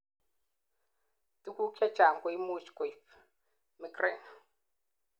tuguk chechang koimuch koib migraine